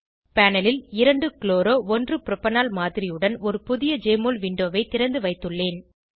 panel ல் 2 chloro 1 propanol மாதிரியுடன் ஒரு புதிய ஜெஎம்ஒஎல் விண்டோவை திருந்து வைத்துள்ளேன்